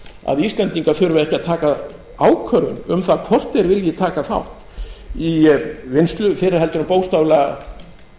að íslendingar þurfi ekki að taka ákvörðun um það hvort þeir vilji taka þátt í vinnslu fyrr en heldur bókstaflega